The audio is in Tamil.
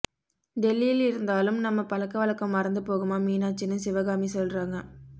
டெல்லியில இருந்தாலும் நம்ம பழக்க வழக்கம் மறந்து போகுமா மீனாட்சின்னு சிவகாமி சொல்றாங்க